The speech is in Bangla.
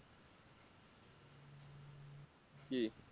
কি?